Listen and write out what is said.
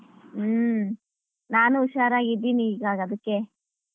ಹ್ಮ್ ನಾನು ಹುಷಾರಾಗಿದ್ದೀನಿ ಈಗ ಅದಕ್ಕೆ.